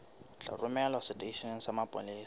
tla romelwa seteisheneng sa mapolesa